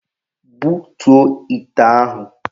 Butuo ite ahụ!